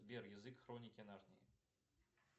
сбер язык хроники нарнии